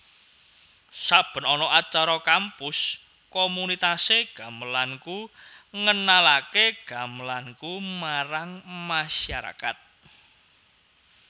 Saben ana acara kampus komunitas e gamelanKu ngenalake e gamelanKu marang masyarakat